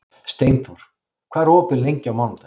Steinþór, hvað er opið lengi á mánudaginn?